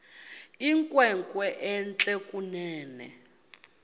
inkwenkwe entle kunene